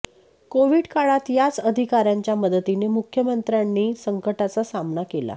Covid काळात याच अधिकाऱ्यांच्या मदतीने मुख्यमंत्र्यांनी संकटाचा सामना केला